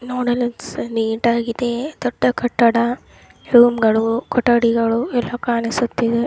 ನೋಡಲು ನೀಟ್ ಆಗಿ ಇದೆ ದೊಡ್ಡ ಕಟ್ಟಡ ರೂಮ್ಗಳು ಕೊಠಡಿಗಳು ಎಲ್ಲ ಕಾಣಿಸುತ್ತಿದೆ .